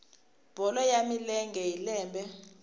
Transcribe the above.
bolo ya milenge hi lembe